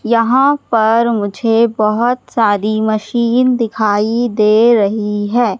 यहां पर मुझे बहोत सारी मशीन दिखाई दे रही है।